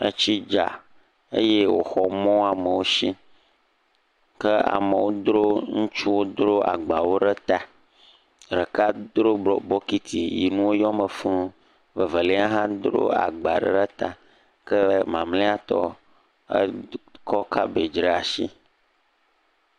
Etsi dza eye wòxɔ mɔ amewo si, ke amewo dro, ŋutsuwo dro agbawo ɖe ta, ɖeka dro bokiti, nuwo yɔ me fuu, ke mamlɛatɔ edro ekɔ kabedzi ɖe asi.